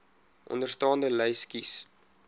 onderstaande lys kies